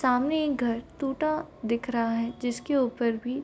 सामने एक घर टूटा दिख रहा है जिसके ऊपर भी --